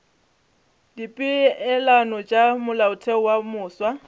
dipeelano tša molaotheo wo mofsa